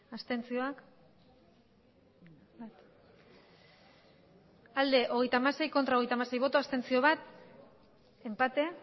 abstentzioa hogeita hamasei bai hogeita hamasei ez bat abstentzio enpate